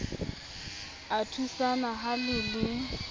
a thusana ha le le